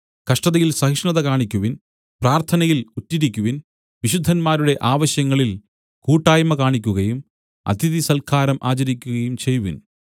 കഷ്ടതയിൽ സഹിഷ്ണത കാണിക്കുവിൻ പ്രാർത്ഥനയിൽ ഉറ്റിരിക്കുവിൻ വിശുദ്ധന്മാരുടെ ആവശ്യങ്ങളിൽ കൂട്ടായ്മ കാണിക്കുകയും അതിഥിസൽക്കാരം ആചരിക്കുകയും ചെയ്‌വിൻ